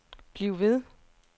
bliv ved